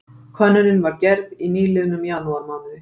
Könnunin var gerð í nýliðnum janúarmánuði